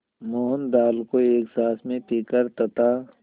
मोहन दाल को एक साँस में पीकर तथा